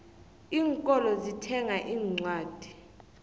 iinkolo zithenga iincwadi